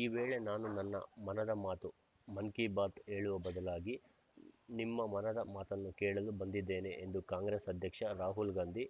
ಈ ವೇಳೆ ನಾನು ನನ್ನ ಮನದ ಮಾತು ಮನ್‌ ಕಿ ಬಾತ್‌ ಹೇಳುವ ಬದಲಾಗಿ ನಿಮ್ಮ ಮನದ ಮಾತನ್ನು ಕೇಳಲು ಬಂದಿದ್ದೇನೆ ಎಂದು ಕಾಂಗ್ರೆಸ್‌ ಅಧ್ಯಕ್ಷ ರಾಹುಲ್‌ಗಾಂಧಿ